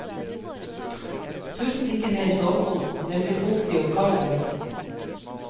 Pust ikke ned i soveposen, den blir fuktig og kald av det.